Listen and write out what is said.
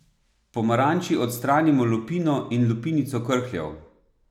Pomaranči odstranimo lupino in lupinico krhljev.